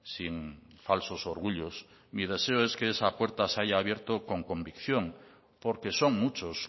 sin falsos orgullos es que esa puerta se haya abierto con convicción porque son